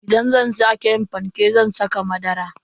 Idan zan kara yin fanke zan saka madara.